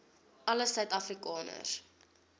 alle suid afrikaners